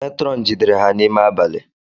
Matron jidere ha n’ime abali